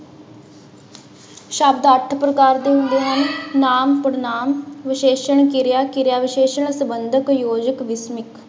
ਸ਼ਬਦ ਅੱਠ ਪ੍ਰਕਾਰ ਦੇ ਹੁੰਦੇ ਹਨ, ਨਾਂਵ, ਪੜ੍ਹਨਾਂਵ, ਵਿਸ਼ੇਸ਼ਣ, ਕਿਰਿਆ, ਕਿਰਿਆ ਵਿਸ਼ੇਸ਼ਣ, ਸੰਬੰਧਕ, ਯੋਜਕ, ਵਿਸ਼ਮਿਕ।